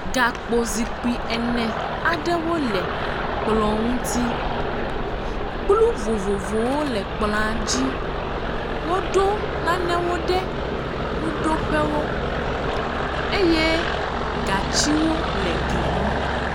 Gakpozikpui ene aɖewo le kplɔ ŋuti, kplu vovovowo le kplɔa ŋuti, woɖo nanewo ɖe nuɖoƒewo eye gatsiwo le gli ŋu.